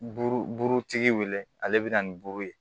Buru burutigi wele ale bɛ na ni buru ye